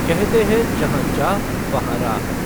कहते है जहां चाह वहां राह